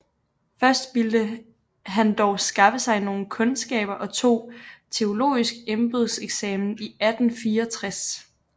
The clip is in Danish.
Først vilde han dog skaffe sig nogle Kundskaber og tog teologisk Embedseksamen 1864